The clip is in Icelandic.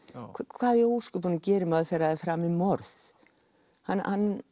hvað í ósköpunum gerir maður þegar er framið morð hann